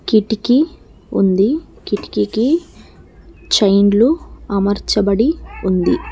కిటికీ ఉంది కిటికీకి చైన్లు అమర్చబడి ఉంది.